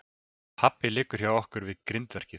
Pabbi liggur hjá okkur upp við grindverkið.